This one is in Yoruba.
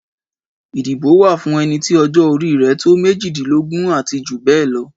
Ìdìbò wa fún ẹnití ọjọ́ orí rẹ̀ tó méjìdínlógún ati jù bẹ́ẹ̀ lọ